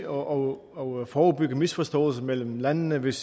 og og forebygge misforståelser mellem landene hvis